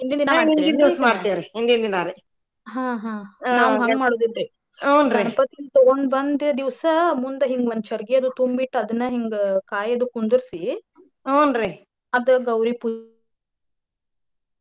ಗಣಪತಿನ ತುಗೊಂಡ ಬಂದ ದಿವಸ ಮುಂದ ಹಿಂಗ ಒಂದ ಚರಗಿದು ತುಂಬಿ ಇಟ್ಟ ಅದನ್ನ ಹಿಂಗ ಕಾಯಿ ಅದು ಕುಂದರ್ಸಿ .